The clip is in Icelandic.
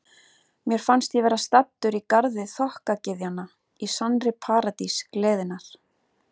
Mér fannst ég vera staddur í garði þokkagyðjanna, í sannri paradís gleðinnar.